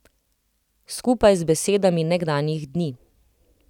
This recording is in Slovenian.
Skupaj z besedami nekdanjih dni.